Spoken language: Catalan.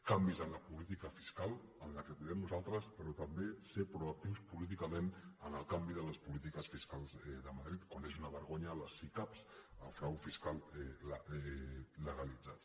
canvis en la política fiscal en el que podem nosaltres però també ser proactius políticament en el canvi de les polítiques fiscals de madrid quan és una vergonya les sicab el frau fiscal legalitzat